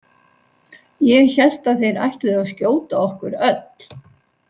Ég hélt að þeir ætluðu að skjóta okkur öll.